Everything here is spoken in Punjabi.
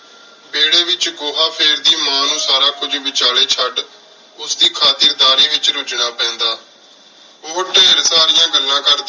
ਵੇਰ੍ਹ੍ਯ ਵਿਚ ਗੋਹਾ ਫੇਰਦੀ ਮਾਂ ਨੂ ਸਾਰਾ ਕੁਝ ਵਿਚਲੀ ਚੜ ਉਸ ਦੀ ਖਾਤਿਰ ਦਰਿ ਵਿਚ ਰਝਣਾ ਪੀਂਦਾ ਓਹੋ ਢੇਰ ਸਰਿਯਾਂ ਗੱਲਾਂ ਕਰਦੀ